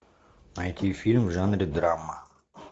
найти фильм в жанре драма